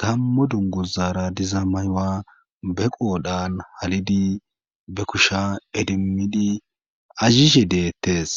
gammo dungozaara diza mayuwa be qoodhan halidi be kusha edimmidi azhishe deettes.